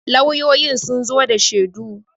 lauyoyi sun zo da shedu